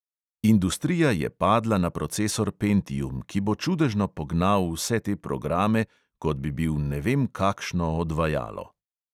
Industrija je padla na procesor pentium, ki bo čudežno pognal vse te programe, kot bi bil ne vem kakšno odvajalo.